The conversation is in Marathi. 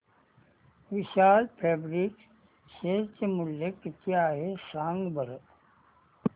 विशाल फॅब्रिक्स शेअर चे मूल्य किती आहे सांगा बरं